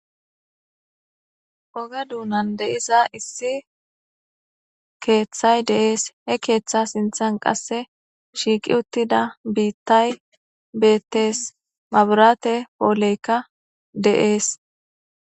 Oga duunan de'iza issi keeththay deees he keeththa sinthan qasse shiiqi uttida biittay beettees maburaate pooleykka de'ees.